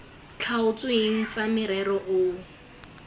tlhaotsweng tsa morero o o